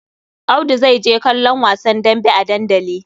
Audu zai je kallon wasa dambe a dandali.